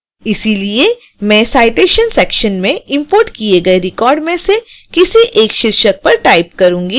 इसलिए मैं citation section में इंपोर्ट किए गए record में से किसी एक शीर्षक पर टाइप करूंगी